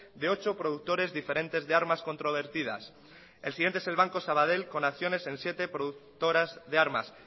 de ocho productores diferentes de armas controvertidas el siguiente es el banco sabadell con acciones en siete productoras de armas